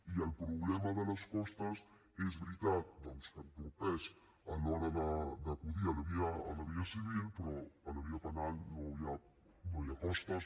i el problema de les costes és veritat doncs que entorpeix a l’hora d’acudir a la via civil però a la via penal no hi ha costes